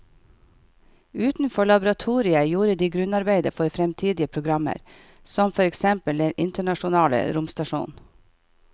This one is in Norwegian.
Utenfor laboratoriet gjorde de grunnarbeidet for fremtidige programmer som for eksempel den internasjonale romstasjonen.